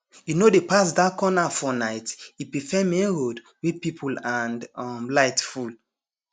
e no dey pass dark corner for night e prefer main road wey people and um light full